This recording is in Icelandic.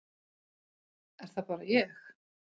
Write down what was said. Er það bara ég.